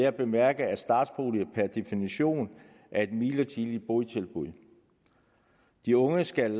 at bemærke at startboliger per definition er et midlertidigt botilbud de unge skal